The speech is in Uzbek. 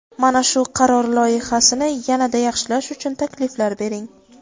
Mana shu qaror loyihasini yana-da yaxshilash uchun takliflar bering.